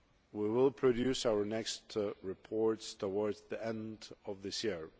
We will produce our next reports towards the end of this year.